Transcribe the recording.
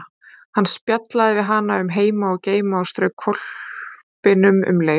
Hann spjallaði við hana um heima og geima og strauk hvolpinum um leið.